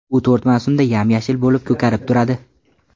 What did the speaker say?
U to‘rt mavsumda yam-yashil bo‘lib ko‘karib turadi.